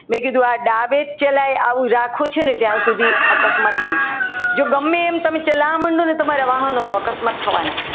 મેં કીધું આ ડાબે જ ચલાય આ રાખ્યું છે ને ત્યાં સુધી અકસ્માત નહીં થાય જો ગમે તેમ તમે ચલાવવા માંડો ને તો અકસ્માત થવાના.